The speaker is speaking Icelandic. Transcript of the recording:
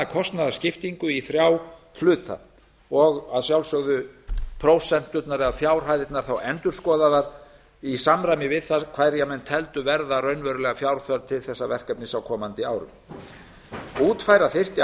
kostnaðarskiptingu í þrjá hluta og að sjálfsögðu yrðu þá prósenturnar eða fjárhæðirnar endurskoðaðar í samræmi við það hverja menn teldu verða raunverulega fjárþörf til þessa verkefnis á komandi árum útfæra þyrfti